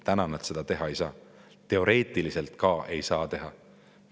Praegu nad seda teha ei saa, isegi teoreetiliselt ei saa teha.